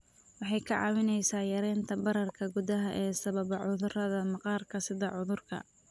Waxay kaa caawinaysaa yaraynta bararka gudaha ee sababa cudurrada maqaarka sida cudurka